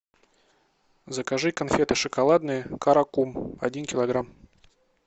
закажи конфеты шоколадные каракум один килограмм